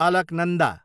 Alaknanda